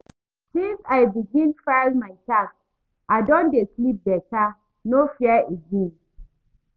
Since I begin file my tax, I don dey sleep better, no fear again.